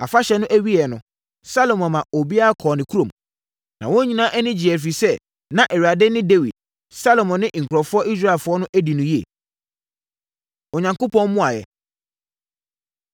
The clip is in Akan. Afahyɛ no awieeɛ no, Salomo maa obiara kɔɔ ne kurom. Wɔn nyinaa ani gyeeɛ, ɛfiri sɛ, na Awurade ne Dawid, Salomo ne nkurɔfoɔ Israelfoɔ adi no yie. Onyankopɔn Mmuaeɛ